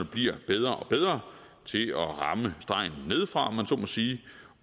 bliver bedre og bedre til at ramme stregen nedefra om man så må sige